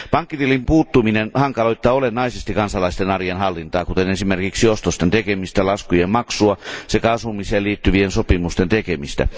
Pankkitilin puuttuminen hankaloittaa olennaisesti kansalaisten arjen hallintaa, kuten esimerkiksi ostosten tekemistä, laskujen maksua sekä asumiseen liittyvien sopimusten tekemistä.